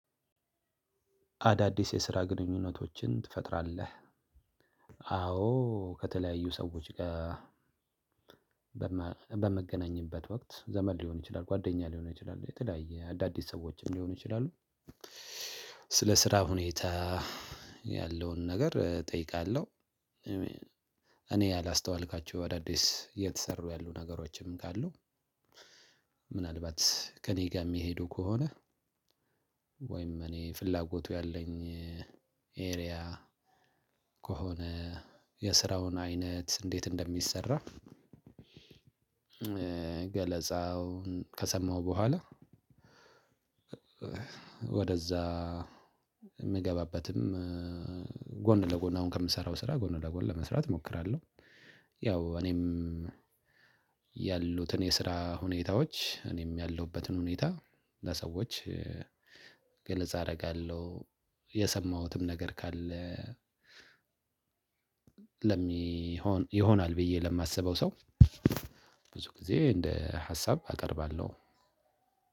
አዳዲስ የስራ ግንኙነቶችን ትፈጥራለህ? አዎ ከተለያዩ ሰዎች ጋር በምገናኘትበት ወቅት ዘመን ሊሆን ይችላል ጓደኛ ሊሆን ይችላል የተለያየ አዳዲስ ሰዎችም ሊሆኑ ይችላሉ። ስለ ስራ ሁኔታ ያለውን ነገር እጠይቃለሁ። እኔ ያላስተዋልኳቸው አዳዲስ እየተሰሩ ያሉ ነገሮችም ካሉ። ምናልባት ከእኔ ጋር እሚሄዱ ከሆነ ወይም እኔ ፍላጎቱ ያለኝ ኤሪያ ከሆነ የስራውን አይነት እንዴት እንደሚሰራ? ገለጻውን ከሰማሁ በኋላ ወደዛ የምገባበትም ጎን ለጎን አሁን ከምሰራው ስራ ጎን ለጎን ለመስራት እሞክራለሁ። ያው እኔም ያሉትን የስራ ሁኔታዎች እኔም ያለሁበትን ሁኔታ ለሰዎች ገለጻ አደርጋለሁ። የሰማሁትም ነገር ካለ ለሚሆን ይሆናል ብዬ ለማሰበው ሰው ብዙ ጊዜ እንደ ሀሳብ አቀርባለሁ።